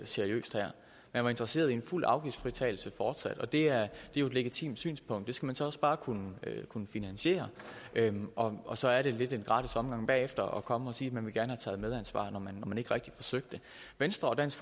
seriøst her man var interesseret i en fuld afgiftsfritagelse fortsat og det er jo et legitimt synspunkt det skal man så også bare kunne finansiere og så er det lidt en gratis omgang bagefter at komme og sige at man gerne taget medansvar når man ikke rigtig forsøgte venstre og dansk